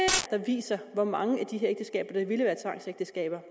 der viser hvor mange af de her ægteskaber